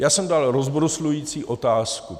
Já jsem dal rozbruslující otázku.